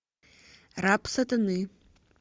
раб сатаны